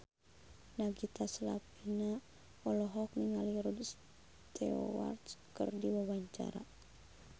Nagita Slavina olohok ningali Rod Stewart keur diwawancara